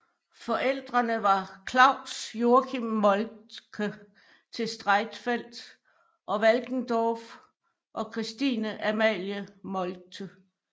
Forældrene var Claus Joachim Moltke til Streitfeld og Walkendorf og Christine Amalie Moltke